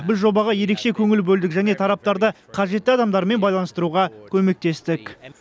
біз жобаға ерекше көңіл бөлдік және тараптарды қажетті адамдармен байланыстыруға көмектестік